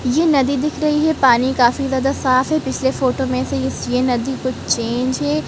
ये नदी दिख रही है पानी काफी ज्यादा साफ़ है पिछले फोटो में से इस ये नदी कुछ चेंज है।